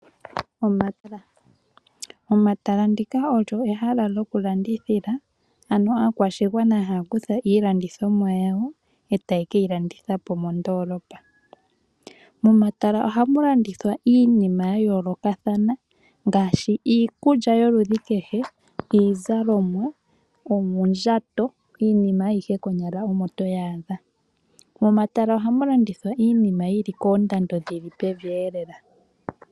Omatala, omatala ndika olyo ehala lokulandithila ano aakwashigwana haakutha iilandithomwa yawo e taakeyilandithapo mondoolopa. Momatala ohamu landithwa iinima yayoolokathana ngaashi iikulya yoludhi kehe, iizalomwa, oondjato iinima ayihe konyala omo toyaadha. Momatala ohamu landithwa iinima yili koondando dhili pevi e lela.